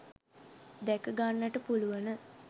දැක ගන්නට පුළුවන